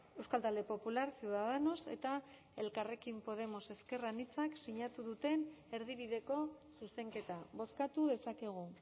euskal talde popular ciudadanos eta elkarrekin podemos ezker anitzak sinatu duten erdibideko zuzenketa bozkatu dezakegu